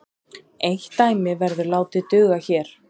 Eitt dæmi verður látið duga hér.